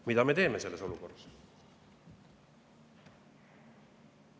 Mida me teeme selles olukorras?